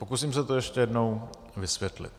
Pokusím se to ještě jednou vysvětlit.